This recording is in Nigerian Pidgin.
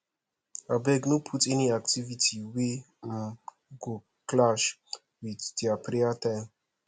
abeg no put any activity wey um go clash with their prayer time